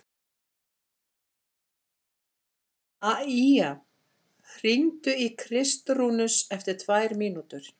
Maía, hringdu í Kristrúnus eftir tvær mínútur.